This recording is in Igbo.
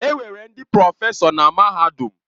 Enwere ndị prọfesọ na mahadum.